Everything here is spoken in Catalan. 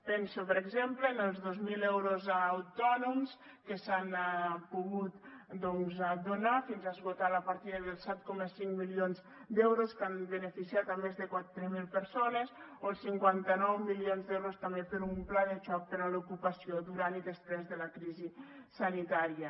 penso per exemple en els dos mil euros a autònoms que s’han pogut doncs donar fins a esgotar la partida dels set coma cinc milions d’euros que han beneficiat més de quatre mil persones o els cinquanta nou milions d’euros també per a un pla de xoc per a l’ocupació durant i després de la crisi sanitària